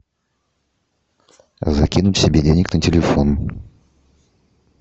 закинуть себе денег на телефон